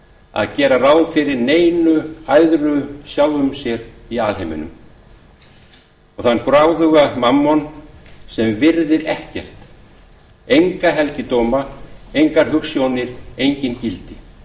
að gera ráð fyrir neinu æðra sjálfum sér í alheimi og þann gráðuga mammon sem virðir ekkert enga helgidóma engar hugsjónir engin gildi